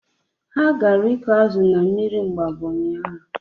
Ha ga ịkụ azụ na mmiri Mgbabọ ụnyaahụ